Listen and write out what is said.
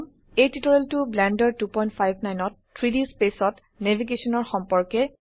এই টিউটোৰিয়েলটো ব্লেন্ডাৰ 259 ত 3ডি স্পেচ ত ন্যাভিগেশনৰ সম্পৰ্কে